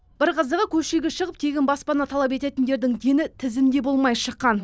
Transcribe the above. бір қызығы көшеге шығып тегін баспана талап ететіндердің дені тізімде болмай шыққан